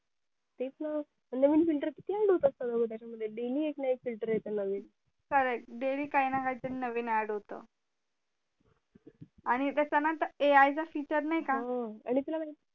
तेच ना नवीन filter किती add होता च्या मध्ये अग daily एक ना एक filter येत नवीन खरंय daily काही ना काही तरी नवीन add होत आणि कसं ना ग त्या A I चा filter नाही का हो हो